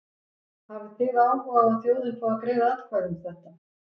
Hafið þið áhuga á að þjóðin fái að greiða atkvæði um þetta?